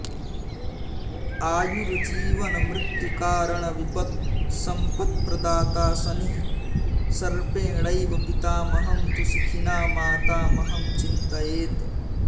आयुर्जीवनमृत्युकारणविपत्सम्पत्प्रदाता शनिः सर्पेणैव पितामहं तु शिखिना मातामहं चिन्तयेत्